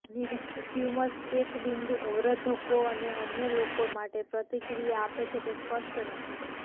નિશ્ચિત tumours check બિંદુ અવરોધકો અને અન્ય લોકો માટે પ્રતિક્રિયા આપે છે તે સ્પષ્ટ નથી